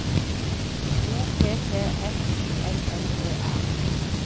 O P P F Y L L E R